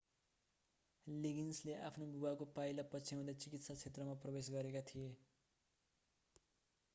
लिगिन्सले आफ्ना बुबाको पाइला पछ्याउँदै चिकित्सा क्षेत्रमा प्रवेश गरेका थिए